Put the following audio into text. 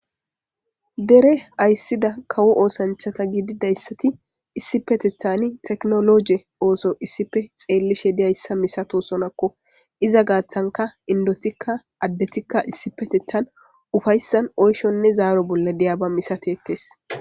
Dere ayssida kawo oosanchata gididayssati issipetethani teknologe ooso issipe xeellishe diyayssa misato sonakko iza gaaththanka indotikka addetikka issipetetan ufayssan oyshonne zaaro bolla diyaba misatetes.